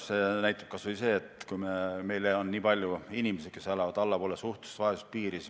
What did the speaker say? Seda näitab kas või see, kui palju on meil inimesi, kes elavad allpool suhtelise vaesuse piiri.